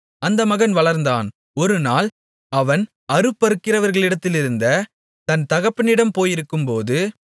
அந்த மகன் வளர்ந்தான் ஒரு நாள் அவன் அறுப்பறுக்கிறவர்களிடத்திலிருந்த தன் தகப்பனிடம் போயிருக்கும்போது